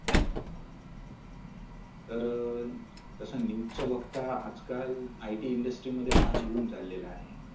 तर अह तस नेहमीच बघता आजकाल IT industry मध्ये फार boom चाललेल आहे.